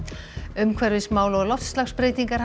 umhverfismál og loftslagsbreytingar